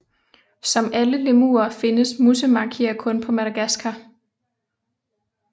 Som alle lemurer findes musemakier kun på Madagaskar